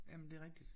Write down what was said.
Jamen det er rigtigt